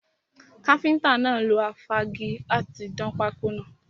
Káfíntà náà lo afági láti dán pákọ́ náà.